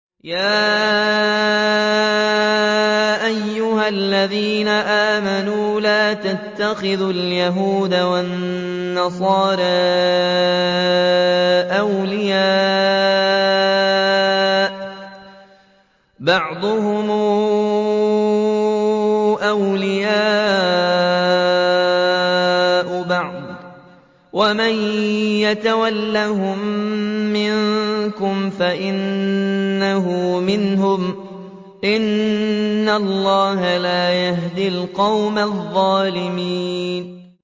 ۞ يَا أَيُّهَا الَّذِينَ آمَنُوا لَا تَتَّخِذُوا الْيَهُودَ وَالنَّصَارَىٰ أَوْلِيَاءَ ۘ بَعْضُهُمْ أَوْلِيَاءُ بَعْضٍ ۚ وَمَن يَتَوَلَّهُم مِّنكُمْ فَإِنَّهُ مِنْهُمْ ۗ إِنَّ اللَّهَ لَا يَهْدِي الْقَوْمَ الظَّالِمِينَ